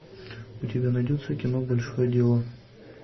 у тебя найдется кино большое дело